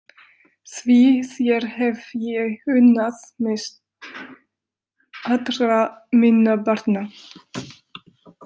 Því þér hef ég unnað mest allra minna barna.